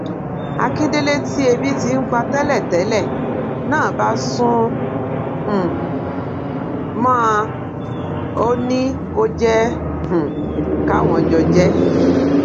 akíndélé tí ebi ti ń pa tẹlẹtẹlẹ náà bá sún um mọ ọn ò ní kó jẹ um káwọn jọ jẹ ẹ